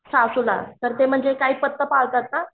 सासूला तर काय त्या पथ्य पाळतात ना